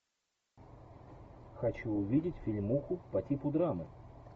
хочу увидеть фильмуху по типу драмы